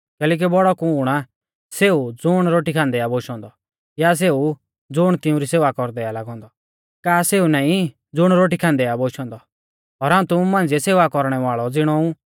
कैलैकि बौड़ौ कुण आ सेऊ ज़ुण रोटी खान्दै आ बोशौ औन्दौ या सेऊ ज़ुण तिउंरी सेवा कौरदै आ लागौ औन्दौ का सेऊ नाईं ज़ुण रोटी खान्दै आ बोशौ औन्दौ और हाऊं तुमु मांझ़िऐ सेवा कौरणै वाल़ै ज़िणौ ऊ